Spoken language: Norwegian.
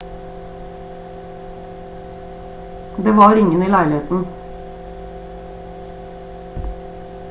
det var ingen i leiligheten